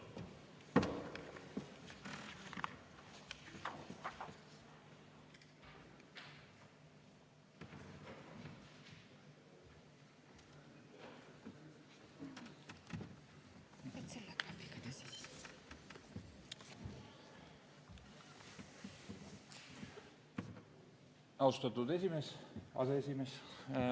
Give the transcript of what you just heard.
Austatud aseesimees!